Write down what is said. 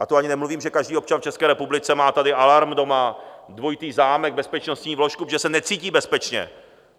A to ani nemluvím, že každý občan v České republice má tady alarm doma, dvojitý zámek, bezpečnostní vložku, protože se necítí bezpečně.